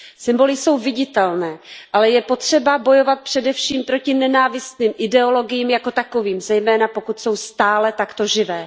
Symboly jsou viditelné, ale je potřeba bojovat především proti nenávistným ideologiím jako takovým, zejména pokud jsou stále takto živé.